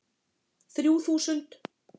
Þrjú þúsund